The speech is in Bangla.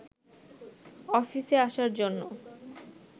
অফিসে আসার জন্য